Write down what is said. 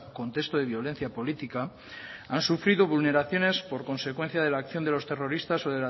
contexto de violencia política han sufrido vulneraciones por consecuencia de la acción de los terroristas o